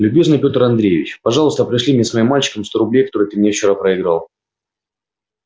любезный петр андреевич пожалуйста пришли мне с моим мальчиком сто рублей которые ты мне вчера проиграл